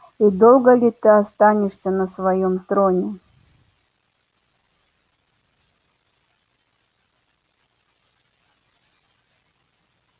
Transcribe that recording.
и долго ли ты останешься на своём троне